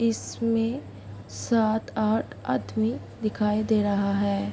इसमें सात-आठ आदमी दिखाई दे रहा है।